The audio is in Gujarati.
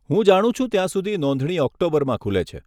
હું જાણું છું ત્યાં સુધી નોંધણી ઓક્ટોબરમાં ખુલે છે.